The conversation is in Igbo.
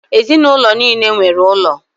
Ezinụlọ nile nwere ụlọ.